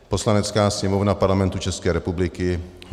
Poslanecká sněmovna Parlamentu České republiky